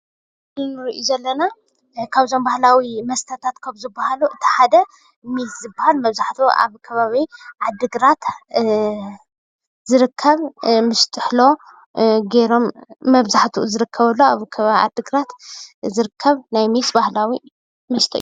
እዚ እንሪኦ ዘለና ካብ ባህላዊ መስተታት ካብ ዝባሃሉ ሓደ ሜስ ዝባሃል መብዛሕትኡ አብ ከባቢ ዓዲ ግራት ዝርከብ ምስ ጥሕሎገይሮም ናይ ሜስ ባህላዊ መስተ እዩ ፡፡